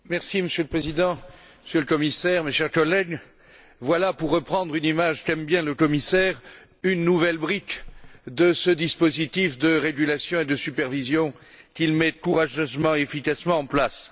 Monsieur le Président, Monsieur le Commissaire, mes chers collègues, voilà, pour reprendre une image qu'aime bien le commissaire, une nouvelle brique de ce dispositif de régulation et de supervision qu'il met courageusement et efficacement en place.